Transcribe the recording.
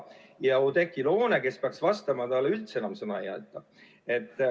Ja Oudekki Loonele, kes peaks vastama, üldse enam sõna ei anta.